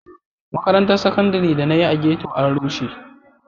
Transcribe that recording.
Makarantar Saƙandare da na yi a ghetto an rushe.